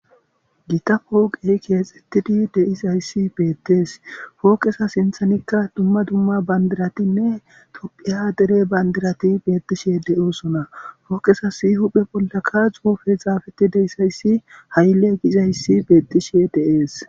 gita pooqey keexettidi deizayssi beettees fookesa sinthanikka dumma dumma bandiratinne tophiya dere bandirati beettishe deyoosona fooqesa si huphe bollaka xuufe xaafeti deisayssi haylle gizayssi beettishe deees